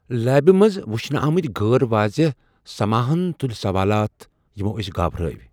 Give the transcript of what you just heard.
لیبہِ منز وُچھنہٕ آمٕتۍ غٲر واضح سماہن تُلۍ سوالات یِمو أسۍ گھابرٲے ۔